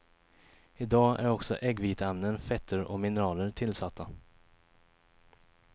I dag är också äggviteämnen, fetter och mineraler tillsatta.